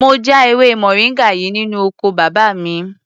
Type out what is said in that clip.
Mo já ewé moringa yìí nínú oko bàbá mi.